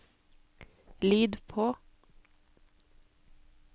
lyd på